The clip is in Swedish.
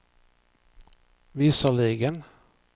visserligen